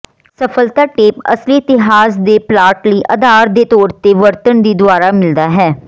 ਸਫਲਤਾ ਟੇਪ ਅਸਲੀ ਇਤਿਹਾਸ ਦੇ ਪਲਾਟ ਲਈ ਆਧਾਰ ਦੇ ਤੌਰ ਤੇ ਵਰਤਣ ਦੀ ਦੁਆਰਾ ਮਿਲਦਾ